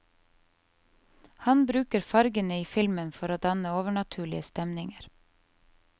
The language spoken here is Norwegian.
Han bruker fargene i filmen for å danne overnaturlige stemninger.